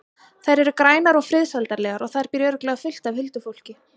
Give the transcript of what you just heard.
Þær eru grænar og friðsældarlegar og þar býr örugglega fullt af huldufólki.